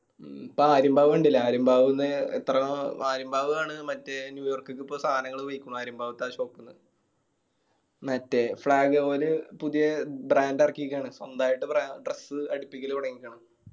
ഇപ്പൊ ആര്യമ്പാവ് കണ്ടില്ലേ ആര്യമ്പാവ്ന്ന് എത്ര എത്ര ആര്യമ്പാവ് ആണ് മറ്റേ ന്യൂയോർക്കിക്ക് ഇപ്പോ സാനങ്ങൾ പോയേക്ക്ന്ന് ആര്യമ്പാവത്തെ ആ shop ന്ന്. മറ്റേ flag oil പുതിയ brand ഇറക്കിക്കണ് സ്വന്തായിട്ട് brand dress അടിപ്പിക്കല് തൊടങ്യിക്കണ്ണ്